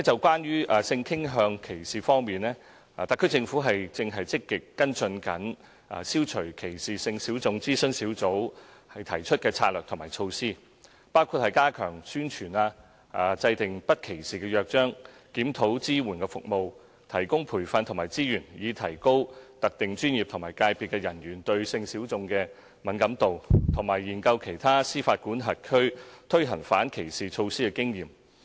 關於性傾向歧視方面，特區政府正積極跟進"消除歧視性小眾諮詢小組"提出的策略及措施，包括加強宣傳、制訂不歧視約章、檢討支援服務、提供培訓和資源以提高特定專業及界別的人員對性小眾的敏感度，以及研究其他司法管轄區推行反歧視措施的經驗。